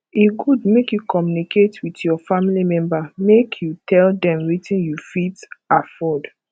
e good make you communicate with your family member make yiu tell dem wetin you fit afford